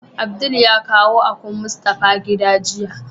Abdul ya kawo akun Mustapha gida jiya.